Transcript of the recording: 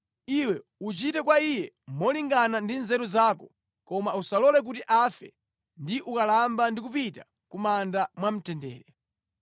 Iwe uchite kwa iye molingana ndi nzeru zako, koma usalole kuti afe ndi ukalamba ndi kupita ku manda mwamtendere.